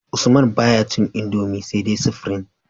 Usman baya cin indomie sai dai supreme